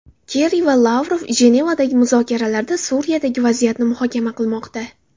Kerri va Lavrov Jenevadagi muzokaralarda Suriyadagi vaziyatni muhokama qilmoqda.